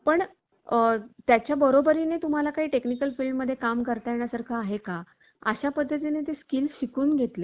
पण त्याच्या बरोबरीने तुम्हाला काही technical field मध्ये काम करता येण्या सारखा आहे का? अशा पद्धतीने ते skills शिकून घेतले